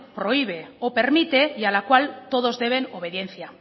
prohíbe o permite y al a cual todos deben obediencia